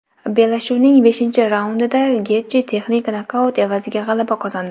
Bellashuvning beshinchi raundida Getji texnik nokaut evaziga g‘alaba qozondi .